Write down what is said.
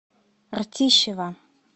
ртищево